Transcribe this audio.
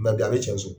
N'a bila a bi cɛn so